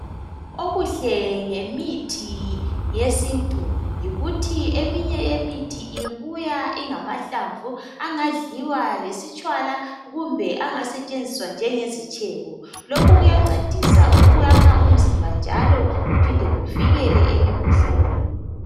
Okuhle ngemithi yesintu yikuthi eminye yemithi ibuya ingamahlamvu angadliwa lesitshwala kumbe angasetshenziswa njengesitshebo lokhu kuyancedisa ukuyakha umzimba njalo kuphinde kuvikele emkhuhlaneni.